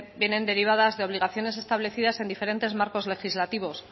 vienen derivadas de obligaciones establecidas en diferentes marcos legislativos